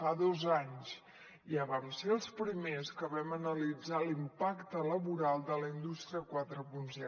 fa dos anys ja vam ser els primers que vam analitzar l’impacte laboral de la indústria quaranta